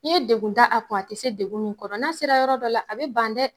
N ye degun da a kun a tɛ se degun kɔrɔ na sera yɔrɔ dɔ la a bɛ ban dɛ.